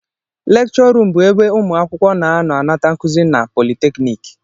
Lekchọ ruum bụ ebe ụmụ akwụkwọ na-anọ anata nkụzi na politekniki